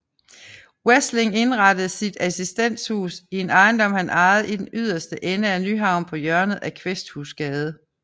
Wesling indrettede sit Assistenshus i en ejendom han ejede i den yderste ende af Nyhavn på hjørnet af Kvæsthusgade